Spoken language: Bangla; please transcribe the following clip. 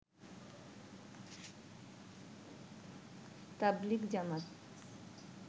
তাবলিগ জামাত